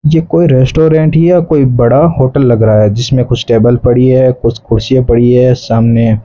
ये कोई रेस्टोरेंट या कोई बड़ा होटल लग रहा है जिसमें कुछ टेबल पड़ी है कुछ कुर्सियां पड़ी है सामने --